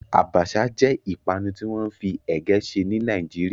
Àbàṣà jẹ́ ìpanu tí wọ́n fi ègé ṣe ní Nàìjíríà